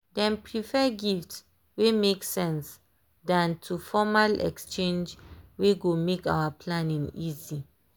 dem prefer gifts wey make sense than to formal exchange wey go make our planning easy.